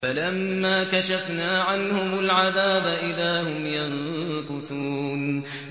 فَلَمَّا كَشَفْنَا عَنْهُمُ الْعَذَابَ إِذَا هُمْ يَنكُثُونَ